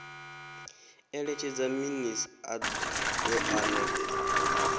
eletshedza minis a doa na